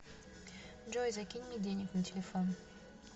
джой закинь мне денег на телефон